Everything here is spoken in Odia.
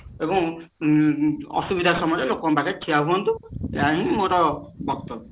ଏବଂ ଅସୁବିଧା ସମୟରେ ଲୋକଙ୍କ ପାଖରେ ଠିଆ ହୁଅନ୍ତୁ ଏହା ହିଁ ମୋର ବକ୍ତବ୍ୟ